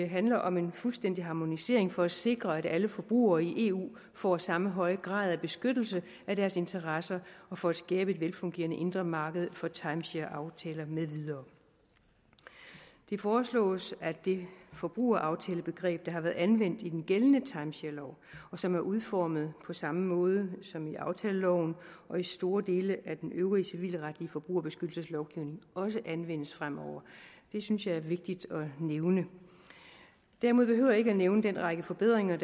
handler om en fuldstændig harmonisering for at sikre at alle forbrugere i eu får samme høje grad af beskyttelse af deres interesser og for at skabe et velfungerende indre marked for timeshareaftaler med videre det foreslås at det forbrugeraftalebegreb der har været anvendt i den gældende timesharelov og som er udformet på samme måde som i aftaleloven og i store dele af den øvrige civilretlige forbrugerbeskyttelseslovgivning også anvendes fremover det synes jeg er vigtigt at nævne derimod behøver jeg ikke at nævne den række forbedringer